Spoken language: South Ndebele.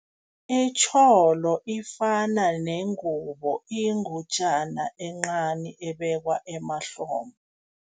Itjholo ifana nengubo, iyingutjana encani ebekwa emahlombe.